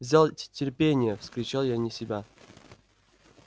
взял терпение вскричал я вне себя